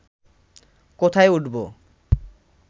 কোথায় উঠবো